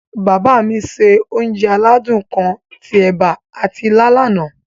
Bàbá mi se onje aládún kan ti ẹ̀ba ati ilá lana.